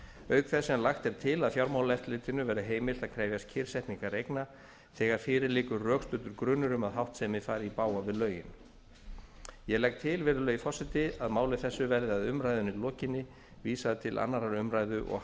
auk þess sem lagt er til að fjármálaeftirlitinu verði heimilt að krefjast kyrrsetningar eigna þegar fyrir liggur rökstuddur grunur um að háttsemi fari í bága við lögin ég legg til virðulegi forseti að máli þessu verði að umræðunni lokinni vísað til annarrar umræðu og